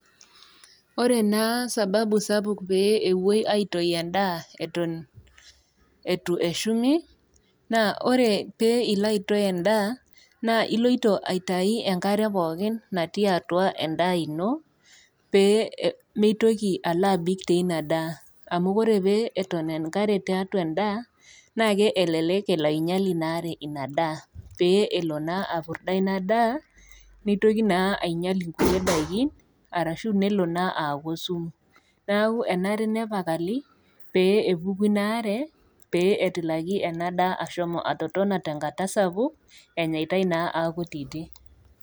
Ore naa sababu sapuk peyie ewoi aitoi endaa eitu eshumi naa ore pee ilo aitoi endaa naa iloito aitayu engare pooki natii atua endaa ino pee meitoki alo abik teina daa, amu ore pee eton engare tiatua endaa naake elelek elo ainyal ina are ina daa, pee elo naa apurda ina da neitoki naa ainyal inkulie daiki arashu nelo naa aaku osumu. Neaku enare nepakali pee epuku ina are pee etilaki ena daa ashomo atotona te nkata sapuk enyaitai naa akutiti